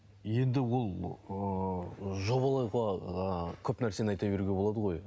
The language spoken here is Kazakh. енді ол ыыы жобалап ыыы көп нәрсені айта беруге болады ғой